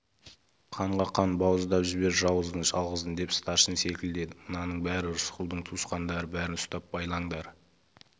қанға қан бауыздап жібер жауыздың жалғызын деп старшын селкілдеді мынаның бәрі рысқұлдың туысқандары бәрін ұстап байлаңдар